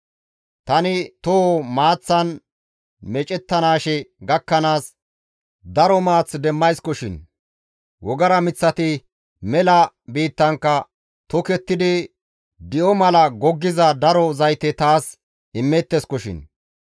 Tani toho maaththan meecettanaashe gakkanaas daro maath demmayskoshin; wogara miththati mela biittankka tokettidi di7o mala goggiza daro zayte taas immeetteskoshin.